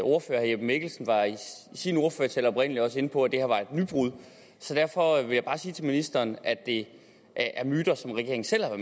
ordfører herre jeppe mikkelsen var i sin ordførertale oprindelig også inde på at det her var et nybrud så derfor vil jeg bare sige til ministeren at det er myter som regeringen selv har